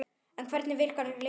En hvernig virkar lyfið?